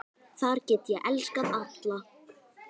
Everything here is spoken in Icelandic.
Þar get ég elskað alla.